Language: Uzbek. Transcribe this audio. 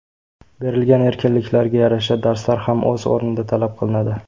Berilgan erkinliklarga yarasha darslar ham o‘z o‘rnida talab qilinadi.